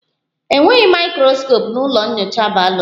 Enweghị mikroskopu na ụlọ nyocha bayoloji